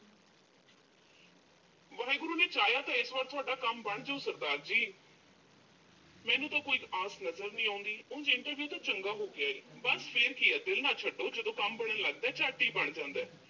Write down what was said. ਵਾਹਿਗੁਰੂ ਨੇ ਚਾਹਿਆ ਤਾਂ ਇਸ ਵਾਰ ਤੁਹਾਡਾ ਕੰਮ ਬਣਜੂ ਸਰਦਾਰ ਜੀ। ਮੈਨੂੰ ਤਾਂ ਕੋਈ ਆਸ ਨਜ਼ਰ ਨੀਂ ਆਉਂਦੀ। ਉਂਜ interview ਤਾਂ ਚੰਗਾ ਹੋ ਗਿਆ ਏ। ਬੱਸ ਫਿਰ ਕੀ ਆ ਦਿਲ ਨਾ ਛੱਡੋ, ਜਦੋਂ ਕੰਮ ਬਣਨ ਲੱਗਜੇ ਝੱਟ ਹੀ ਬਣ ਜਾਂਦਾ।